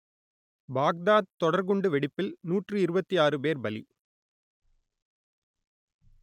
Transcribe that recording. Baghdad தொடர்குண்டு வெடிப்பில் நூற்று இருபத்தி ஆறு பேர் பலி